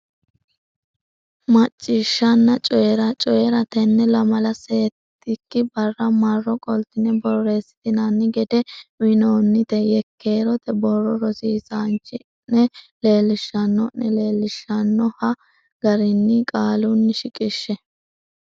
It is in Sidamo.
Macciishshanna Coyi ra Coyi ra Tenne lamala settikki barra marro qoltine borreessitinanni gede uynoonni neta yekkeerote borro rosiisaanchi o ne leellishanno ne leellishshannohe garinni qaalunni shiqishshe.